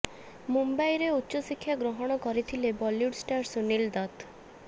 ମୁମ୍ବାଇରେ ଉଚ୍ଚ ଶିକ୍ଷା ଗ୍ରହଣ କରିଥିଲେ ବଲିଉଡ ଷ୍ଟାର ସୁନୀଲ ଦତ୍ତ